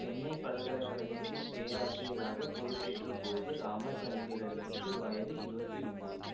சென்னை பல்கலக்கழகத்தில் பேராசிரியராக பொறுப்பேற்றபோது இராமச்சந்திரனுக்கு வயது இருபத்தி ஒம்போது